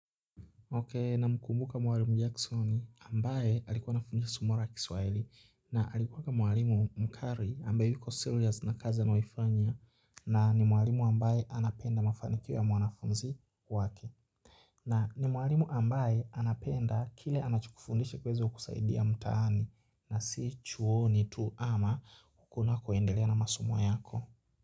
Okay namkumbuka mwalimu Jackson ambaye alikuwa anafunza somo la kiswaili na alikuwa ka mwalimu mkari ambaye yuko serious na kazi anayoifanya na ni mwalimu ambaye anapenda mafanikiwo mwanafunzi wake. Na ni mwalimu ambaye anapenda kile anachokufundisha kiweze kusaidia mtaani na si chuoni tu ama hukuna kuendelea na masomo yako.